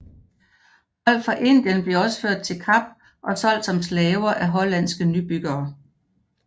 Folk fra Indien blev også ført til Kap og solgt som slaver af hollandske nybyggere